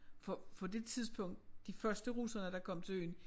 For for det tidspunkt de første russere der kom til øen